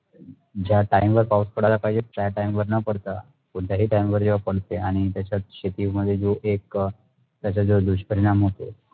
ज्या time वर पाऊस पडाला पाहिजे ज्या time वर न पडता कोणतेही TIME वर जेव्हा पडते आणि त्याचात शेती मध्य जो एक त्याचा जो दुष्परिणाम होतो मग